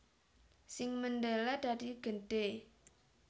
Sing mendele dadi gedhe